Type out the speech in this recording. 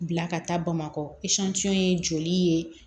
Bila ka taa bamakɔ ye joli ye